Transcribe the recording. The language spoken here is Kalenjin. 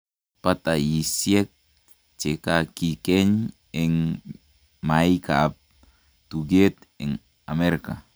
Batayisyeek chekakikeny en maiikab tukeet en Amerika